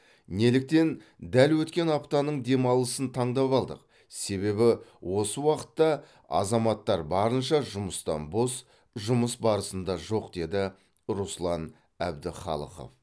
неліктен дәл өткен аптаның демалысын таңдап алдық себебі осы уақытта азаматтар барынша жұмыстан бос жұмыс барысында жоқ деді руслан әбдіхалықов